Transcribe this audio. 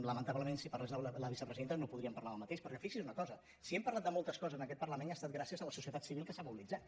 lamen·tablement si parlés la vicepresidenta no podríem parlar del mateix perquè fixi’s en una cosa si hem parlat de moltes coses en aquest parlament ha es·tat gràcies a la societat civil que s’ha mobilitzat